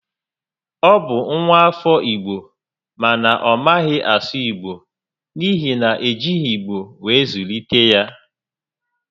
Ọ bụ nwa afọ Igbo mana ọ maghị asụ Igbo n'ihi na e jighi igbo were zụlite ya